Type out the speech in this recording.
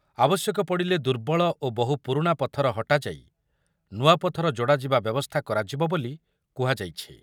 ଆବଶ୍ୟକ ପଡ଼ିଲେ ଦୁର୍ବଳ ଓ ବହୁ ପୁରୁଣା ପଥର ହଟାଯାଇ ନୂଆ ପଥର ଯୋଡ଼ା ଯିବା ବ୍ୟବସ୍ଥା କରାଯିବ ବୋଲି କୁହାଯାଇଛି।